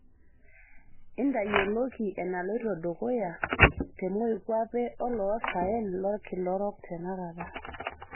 intayioloki enaloito dukuya temoikuape oloosaen lorkila orok tenakata